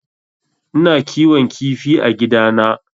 Ina kiwon kifi a gidana